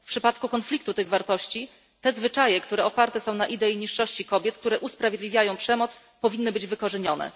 W przypadku konfliktu tych wartości zwyczaje, które oparte są na idei niższości kobiet i które usprawiedliwiają przemoc, powinny być wykorzenione.